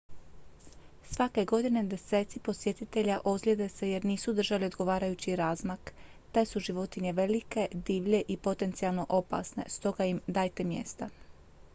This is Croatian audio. svake godine deseci posjetitelja ozlijede se jer nisu držali odgovarajući razmak te su životinje velike divlje i potencijalno opasne stoga im dajte mjesta